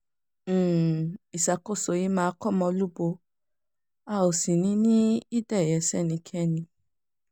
um ìṣàkóso yìí máa kọ́mọlúbo a ò sì ní um í dẹ̀yẹ sẹ́nikẹ́ni